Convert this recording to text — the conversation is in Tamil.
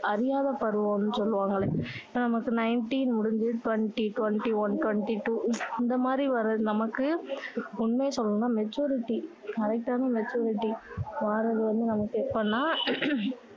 அறியாத பருவம்னு சொல்லுவாங்கள்ல நமக்கு nineteen முடிஞ்சி twenty twenty one twenty two இந்த மாதிரி வர நமக்கு உண்மைய சொல்லணும்னா maturity correct டான maturity வாரது வந்து நமக்கு வாரது எப்போன்னா